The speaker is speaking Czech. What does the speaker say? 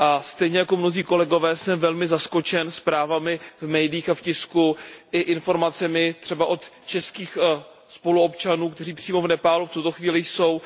Stejně jako mnozí kolegové jsem velmi zaskočen zprávami v médiích a v tisku i informacemi třeba od českých spoluobčanů, kteří přímo v Nepálu v tuto chvíli jsou.